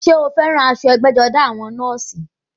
Ṣé o fẹ́ran aṣọ ẹgbẹ́-jọdá àwọn nọ́ọ̀sì?